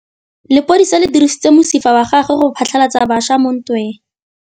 Lepodisa le dirisitse mosifa wa gagwe go phatlalatsa batšha mo ntweng.